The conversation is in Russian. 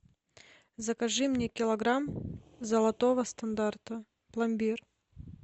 закажи мне килограмм золотого стандарта пломбир